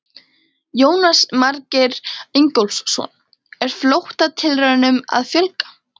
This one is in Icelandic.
Jónas Margeir Ingólfsson: Er flóttatilraunum að fjölga?